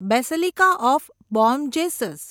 basilica of Bom Jesus